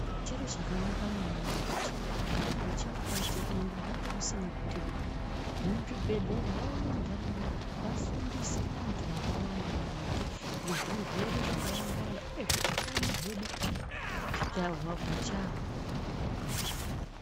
Chiro chakanaka maningi kuti kana kuchinge kwaite denda nyange kusina kuite denda, vemuzvibhedhlera vauye muntaraunda vafundise vantu vakawanda maringe ngezvirwere zvakawanda-wanda uyezve utano hwedu pachahwo.